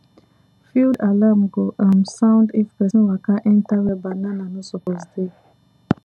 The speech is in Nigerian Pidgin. field alarm go um sound if pesin waka enter where banana no suppose dey